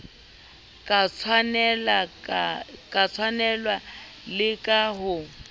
ka tshwanelo le ka ho